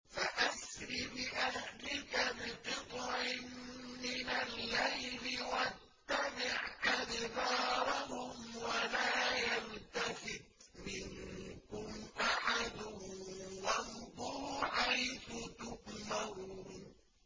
فَأَسْرِ بِأَهْلِكَ بِقِطْعٍ مِّنَ اللَّيْلِ وَاتَّبِعْ أَدْبَارَهُمْ وَلَا يَلْتَفِتْ مِنكُمْ أَحَدٌ وَامْضُوا حَيْثُ تُؤْمَرُونَ